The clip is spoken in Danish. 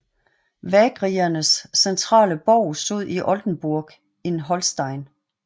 Vagriernes centrale borg stod i Oldenburg in Holstein